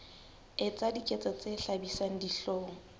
etsa diketso tse hlabisang dihlong